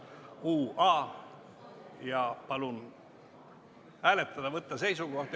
Palun võtta seisukoht ja hääletada!